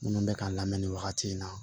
Minnu bɛ k'a la mɛ nin wagati in na